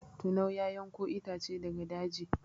Tinau ya yanko itace daga daji.